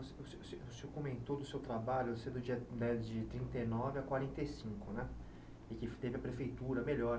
O se se se se o senhor comentou do seu trabalho, do dia né de trinta e nove a quarenta e cinco né, e que teve a prefeitura melhor.